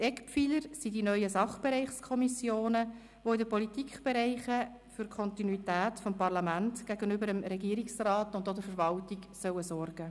Eckpfeiler sind die neuen Sachbereichskommissionen, die in den Politikbereichen für Kontinuität des Parlaments gegenüber dem Regierungsrat und auch der Verwaltung sorgen sollen.